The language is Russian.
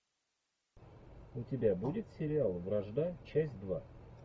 у тебя будет сериал вражда часть два